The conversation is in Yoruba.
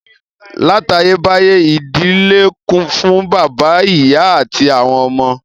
Látayébáyé, ìdílé kún fún bàbá, ìyá àti àwọn ọmọ